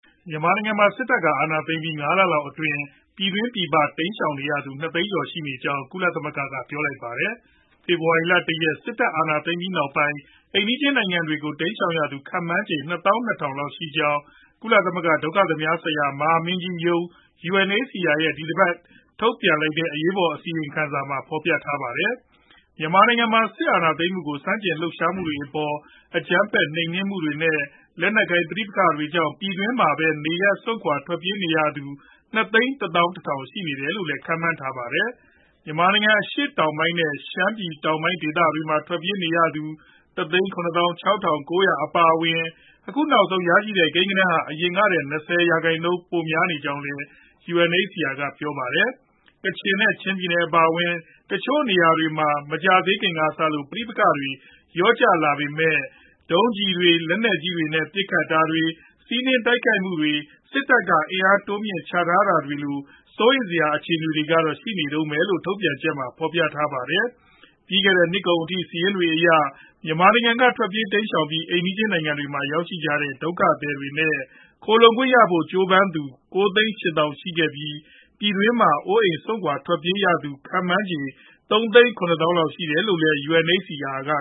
မြန်မာနိုင်ငံမှာ စစ်တပ်က အာဏာသိမ်းပြီး ၅ လလောက်အတွင်း ပြည်တွင်း၊ ပြည်ပ တိမ်းရှောင်နေရသူ ၂ သိန်းကျော် ရှိနေကြောင်း ကုလသမဂ္ဂက ပြောလိုက်ပါတယ်။ ဖေဖော်ဝါရီလ ၁ ရက်နေ့ စစ်တပ်အာဏာသိမ်းပြီးနောက်ပိုင်း အိမ်နီးချင်း နိုင်ငံတွေကို တိမ်းရှောင်ရသူ ခန့်မှန်းခြေ ၂ သောင်း ၂ ထောင်လောက် ရှိကြောင်း ဒုက္ခသည်များဆိုင်ရာ ကုလသမဂ္ဂ မဟာမင်းကြီးရုံး (UNHCR) ရဲ့ ဒီသီတင်းပတ် ထုတ်ပြန်လိုက်တဲ့ အရေးပေါ်အခြေအနေ အစီရင်ခံစာမှာ ဖော်ပြခဲ့တာပါ။ မြန်မာနိုင်ငံမှာ စစ်အာဏာသိမ်းမှုကို ဆန့်ကျင်လှုပ်ရှားမှုတွေအပေါ် အကြမ်းဖက် နှိမ်နင်းမှုတွေနဲ့ လက်နက်ကိုင် ပဋိပက္ခတွေကြောင့် ပြည်တွင်းမှာပဲ နေရပ်စွန့်ခွာ ထွက်ပြေးနေသူ ၂ သိန်း ၁ သောင်း ၁ ထောင် ရှိတယ်လို့လည်း ခန့်မှန်းထားပါတယ်။ မြန်မာနိုင်ငံ အရှေ့တောင်ပိုင်းနဲ့ ရှမ်းပြည်တောင်ပိုင်း ဒေသတွေမှာ ထွက်ပြေးနေရသူ ၁ သိန်း ၇ သောင်း ၆ ထောင် ၉ ရာ အပါအဝင် အခုနောက်ဆုံး ရရှိတဲ့ ကိန်းဂဏန်းဟာ အရင်တလကထက် ၂၀ ရာခိုင်နှုန်းကျော် ပိုများကြောင်းလည်း UNHCR ကပြောပါတယ်။ ကချင်နဲ့ ချင်းပြည်နယ် အပါအဝင် တချို့နေရာတွေမှာ မကြာသေးခင်ကစလို့ ပဋိပက္ခတွေ လျော့ကျလာပေမဲ့ ရော့ကတ်တွေ၊ လက်နက်ကြီးတွေနဲ့ ပစ်ခတ်တာတွေ၊ စီးနင်းတိုက်ခိုက်မှုတွေ၊ စစ်တပ်က အင်အားတိုးမြှင့်ချထားတာတွေလို စိုးရိမ်စရာ အခြေအနေတွေ ရှိနေတုန်းပဲလို့လည်း ထုတ်ပြန်ချက်မှာ ဖော်ပြထားတာပါ။ ပြီးခဲ့တဲ့နှစ်ကုန်အထိ စာရင်းတွေအရ မြန်မာနိုင်ငံက ထွက်ပြေးတိမ်းရှောင်ပြီး အိမ်နီးချင်းနိုင်ငံတွေမှာ ရောက်နေကြတဲ့ ဒုက္ခသည်တွေနဲ့ ခိုလှုံခွင့်ရဖို့ ကြိုးပမ်းသူ ၉ သိန်း ၈ သောင်း ရှိခဲ့ပြီး၊ ပြည်တွင်းမှာ အိုးအိမ်စွန့်ခွာ ထွက်ပြေးနေရသူ ခန့်မှန်းခြေ ၃ သိန်း ၇ သောင်းလောက် ရှိတယ်လို့လည်း UNHCR က